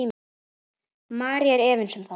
María er efins um það.